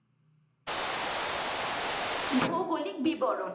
ভৌগলিক বিবরণ।